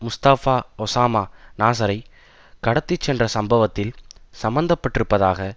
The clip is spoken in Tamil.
முஸ்தபா ஓஸாமா நாசரை கடத்தி சென்ற சம்பவத்தில் சம்மந்த பட்டிருப்பதாக